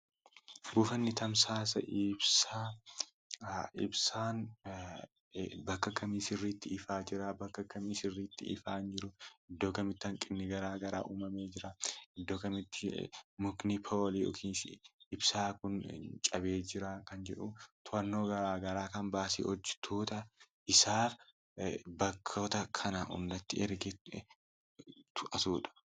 Buufanni tajaajila ibsaa; ibsaan bakka kamii sirriitti ifaa jira, bakka kamii sirriitti ifaa hin jiru, iddoo kamitti hanqinni uumamee jira, iddoo kamitti mukni ibsaa kun cabee jira kan jedhu hojjattoota isaa bakkoota kanatti ergee kan to'atuudha.